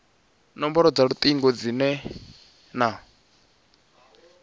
nomboro dza lutingo dzine na